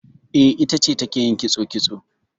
E, ita ce take yin kitso kitso.